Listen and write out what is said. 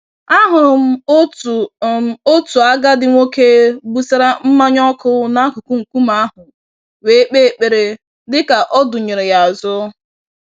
Ahụrụ m otu m otu agadi nwoke gbụsara mmanya ọkụ n'akụkụ nkume ahụ wee kpee ekpere, dịka ọdụnyeere yá azụ.